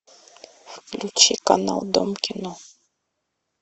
включи канал дом кино